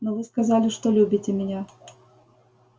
но вы сказали что любите меня